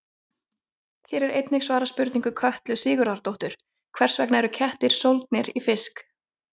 Hér er einnig svarað spurningu Kötlu Sigurðardóttur: Hvers vegna eru kettir sólgnir í fisk?